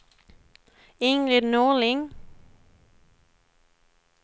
Ingrid Norling